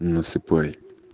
насыпай